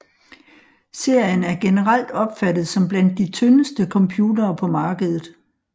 Serien er generelt opfattet som blandt de tyndeste computere på markedet